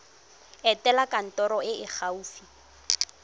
etela kantoro e e gaufi